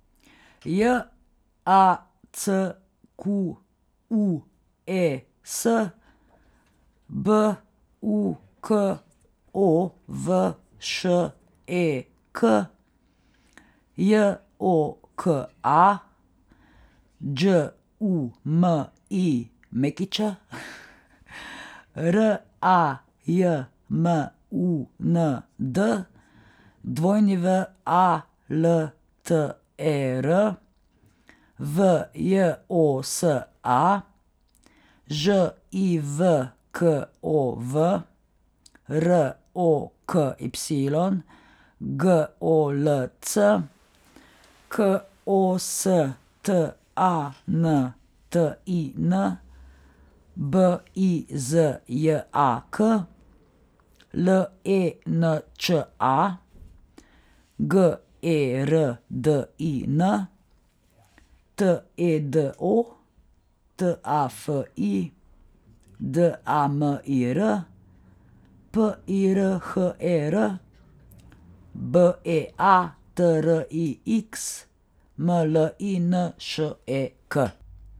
J A C Q U E S, B U K O V Š E K; J O K A, Đ U M I Ć; R A J M U N D, W A L T E R; V J O S A, Ž I V K O V; R O K Y, G O L C; K O S T A N T I N, B I Z J A K; L E N Č A, G E R D I N; T E D O, T A F I; D A M I R, P I R H E R; B E A T R I X, M L I N Š E K.